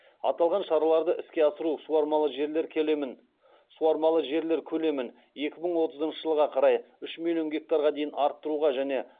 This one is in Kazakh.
аталған шараларды іске асыру суармалы жерлер көлемін екі мың отызыншы жылға қарай үш миллион гектарға дейін арттыруға және